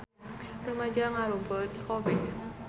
Rumaja ngarumpul di Kobe